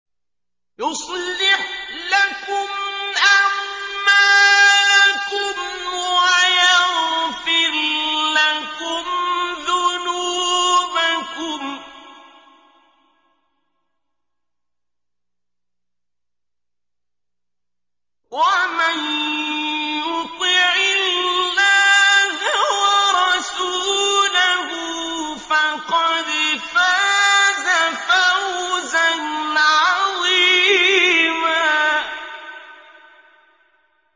يُصْلِحْ لَكُمْ أَعْمَالَكُمْ وَيَغْفِرْ لَكُمْ ذُنُوبَكُمْ ۗ وَمَن يُطِعِ اللَّهَ وَرَسُولَهُ فَقَدْ فَازَ فَوْزًا عَظِيمًا